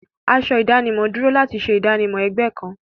Aṣọ ìdánimọ̀ dúró láti ṣe ìdánimọ̀ ẹgbẹ́ kan.